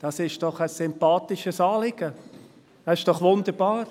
Dies ist doch ein sympathisches Anliegen, das ist doch wunderbar.